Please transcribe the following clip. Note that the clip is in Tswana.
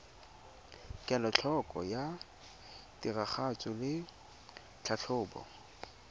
kelotlhoko ya tiragatso le tlhatlhobo